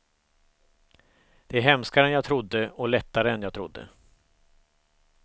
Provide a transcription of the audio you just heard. Det är hemskare än jag trodde, och lättare än jag trodde.